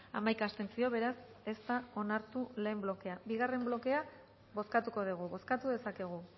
hamaika abstentzio beraz ez da onartu lehen blokea bigarren blokea bozkatuko dugu bozkatu dezakegu